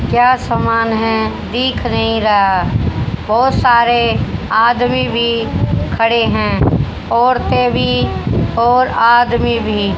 क्या सामान है दिख नहीं रहा बहोत सारे आदमी भी खड़े हैं औरते भी और आदमी भी।